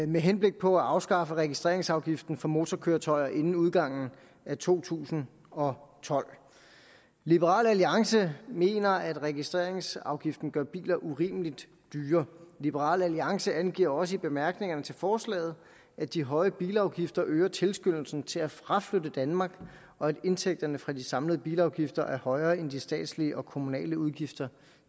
med henblik på at afskaffe registreringsafgiften for motorkøretøjer inden udgangen af to tusind og tolv liberal alliance mener at registreringsafgiften gør biler urimelig dyre liberal alliance angiver også i bemærkningerne til forslaget at de høje bilafgifter øger tilskyndelsen til at fraflytte danmark og at indtægterne fra de samlede bilafgifter er højere end de statslige og kommunale udgifter